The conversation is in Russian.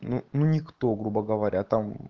ну ну никто грубо говоря там